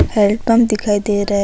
Hand pump दिखाई दे रहा है।